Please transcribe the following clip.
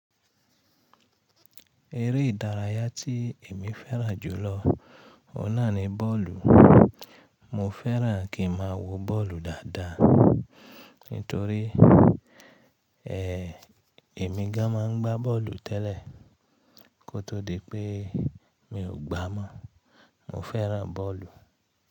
Eré ìdárayá tí èmi fẹ́ràn jùlọ ọ́un naà ni bọ́ọ̀lù. Mo fẹ́ràn kí ma wo bọ́ọ̀lù dáadáa, nítorí ẹ, èmi gan an máa gbà bọ́ọ̀lù tẹ́lẹ̀ kó tó di pé, mi ò gbá mọ́. Mo fẹ́ràn bọ́ọ̀lù.